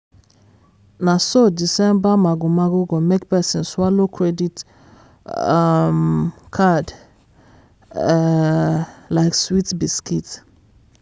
na so december mago-mago go make person swallow credit um card um like sweet biscuit.